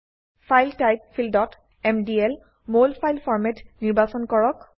file type ফীল্ডত MDL মলফাইল ফৰমাত নিৰ্বাচন কৰক